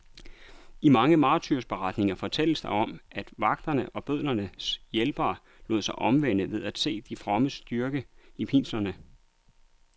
I mange martyrberetninger fortælles der om, at vagterne og bødlernes hjælpere lod sig omvende ved at se de frommes styrke i pinslerne.